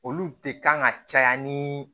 Olu de kan ka caya ni